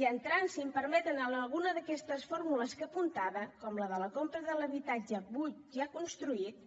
i entrant si m’ho permeten en alguna d’aquestes fórmules que apuntava com la de la compra de l’habitatge buit ja construït